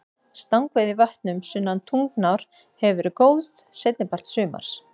Stangveiði í vötnum sunnan Tungnár hefur verið góð seinni part sumars.